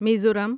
Mizoram